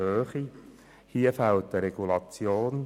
Hier fehlt eine Regulation.